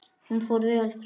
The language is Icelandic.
Hún fór vel fram.